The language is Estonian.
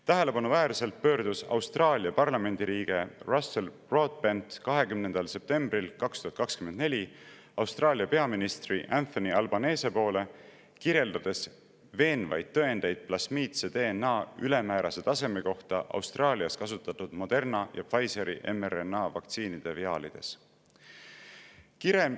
Tähelepanuväärselt pöördus Austraalia parlamendiliige Russell Broadbent 20. septembril 2024 Austraalia peaministri Anthony Albanese poole, kirjeldades veenvaid tõendeid plasmiidse DNA ülemäärase taseme kohta Austraalias kasutatud Moderna ja Pfizeri mRNA-vaktsiinide viaalides.